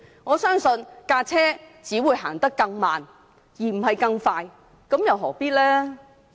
我相信車輛只會走得更慢而不是更快，這樣又何必呢？